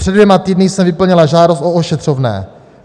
Před dvěma týdny jsem vyplnila žádost o ošetřovné.